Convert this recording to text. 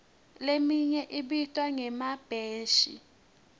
leminye ibitwa ngemabheshi